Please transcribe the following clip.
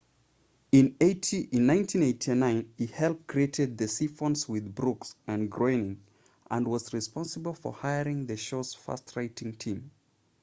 in 1989 he helped create the simpsons with brooks and groening and was responsible for hiring the show's first writing team